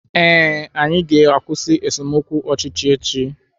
Ee, anyị ga-akwụsị esemokwu ọchịchị echi